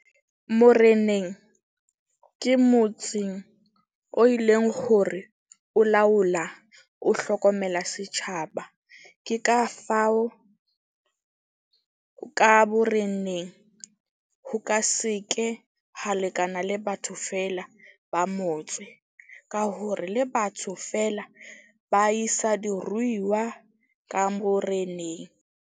Moreneng ke motseng o e leng hore o laola, o hlokomela setjhaba. Ke ka fao ka boreneng ho ka se ke ha lekana le batho feela ba motse. Ka hore le batho feela, ba isa diruiwa ka boreneng.